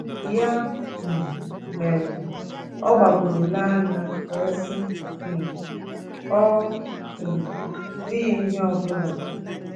Ya um mere, ọ gbagooro lee anya wee sị um: ‘Ọ um dịghị ihe ọ bụla. '